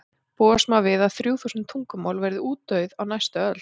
búast má við að þrjú þúsund tungumál verði útdauð á næstu öld